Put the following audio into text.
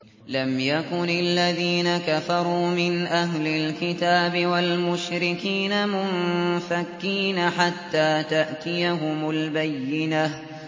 لَمْ يَكُنِ الَّذِينَ كَفَرُوا مِنْ أَهْلِ الْكِتَابِ وَالْمُشْرِكِينَ مُنفَكِّينَ حَتَّىٰ تَأْتِيَهُمُ الْبَيِّنَةُ